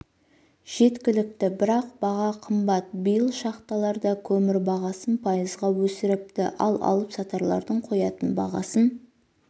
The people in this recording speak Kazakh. жеткілікті бірақ баға қымбат биыл шахталар да көмір бағасын пайызға өсіріпті ал алып-сатарлардың қоятын бағасын